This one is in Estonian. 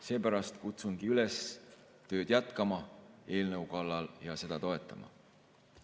Seepärast kutsungi üles jätkama tööd eelnõu kallal ja seda toetama.